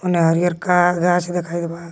नारियर का गाछ देखाइत बा.